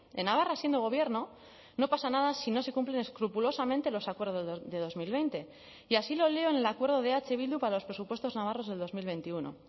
en navarra siendo gobierno no pasa nada si no se cumplen escrupulosamente los acuerdos de dos mil veinte y así lo leo en el acuerdo de eh bildu para los presupuestos navarros del dos mil veintiuno